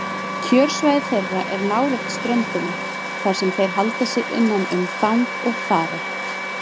Kjörsvæði þeirra er nálægt ströndinni þar sem þeir halda sig innan um þang og þara.